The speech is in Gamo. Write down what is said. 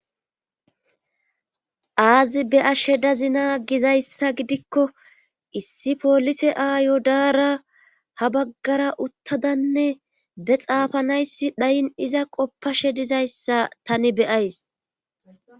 Aazi beyashe dazina gizayssa gidikko issi polise aayo daara ha baggara uttadanne be xaafanayssi dhayin iza qoppashe dizayssa tani beyays.